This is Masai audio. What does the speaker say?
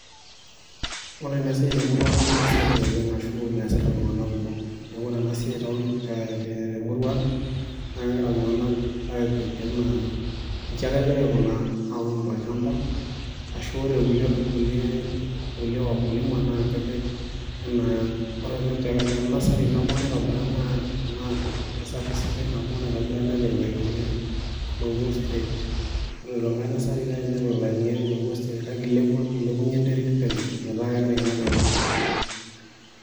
Ore ena siaai nemesapuk oleng ashu mesita iltungana kumok, neeku kore ena siaai temurua ang naa kegira iltungana apik enaa inshi ake egira aikunaa aaun tolshamba, ashu kore kulie wakulima naa kepik enaa tenasai nabo naitobira nursery naado lopuo straight kore eniko nasari nepiki ilainini loopuo straight kake ilepunye enterit penyo metaa kegira aingat enkop.